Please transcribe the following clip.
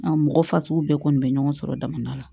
mɔgɔ fasugu bɛɛ kɔni bɛ ɲɔgɔn sɔrɔ dama la